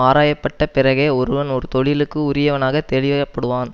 ஆராயப்பட்ட பிறகே ஒருவன் ஒரு தொழிலுக்கு உரியவனாக தெளிய படுவான்